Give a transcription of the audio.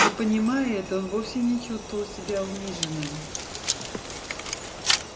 но понимая это он вовсе не чувствовал себя униженным